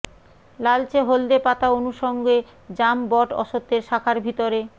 লালচে হলদে পাতা অনুষঙ্গে জাম বট অশ্বত্থের শাখার ভিতরে